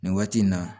Nin waati in na